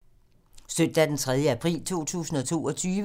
Søndag d. 3. april 2022